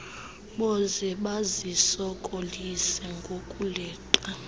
boze bazisokolise ngokuleqa